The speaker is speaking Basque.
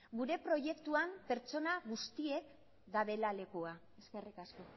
gure proiektuan pertsona guztiek dabela lekua eskerrik asko